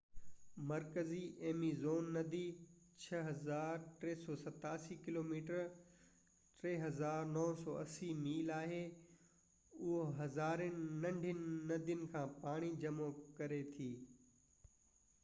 مرڪزي ايميزون ندي 6,387 kilometre 3,980 mile آهي. اهو هزارين ننڍين ندين کان پاڻي جمع ڪري ٿي